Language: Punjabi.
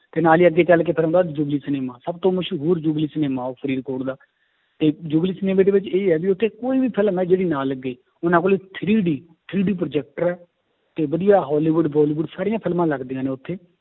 ਤੇ ਨਾਲੇ ਹੀ ਅੱਗੇ ਚੱਲ ਕੇ ਫਿਰ ਆਉਂਦਾ ਸਿਨੇਮਾ ਸਭ ਤੋਂ ਮਸ਼ਹੂਰ ਸਿਨੇਮਾ ਉਹ ਫਰੀਦਕੋਟ ਦਾ, ਤੇ ਸਿਨੇਮਾ ਦੇ ਵਿੱਚ ਇਹ ਆ ਵੀ ਉੱਥੇ ਕੋਈ ਵੀ film ਹੈ ਜਿਹੜੀ ਨਾ ਲੱਗੇ ਉਹਨਾਂ ਕੋਲੇ three D three D projector ਹੈ, ਤੇ ਵਧੀਆ ਹੋਲੀਵੁਡ ਬੋਲੀਵੁਡ ਸਾਰੀਆਂ ਫਿਲਮਾਂ ਲੱਗਦੀਆਂਂ ਨੇ ਉੱਥੇ